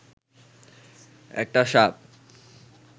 একটা সাপ